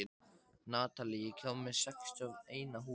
Natalie, ég kom með sextíu og eina húfur!